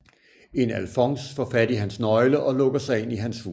En Alfons faar fat i hans Nøgle og lukker sig ind i hans Hus